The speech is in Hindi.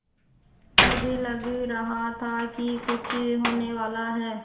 मुझे लग रहा था कि कुछ होनेवाला है